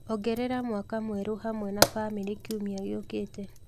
ongerera mwaka mwerũ hamwe na famĩlĩ kiumia gĩũkĩte